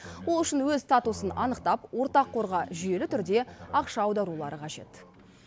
ол үшін өз статусын анықтап ортақ қорға жүйелі түрде ақша аударулары қажет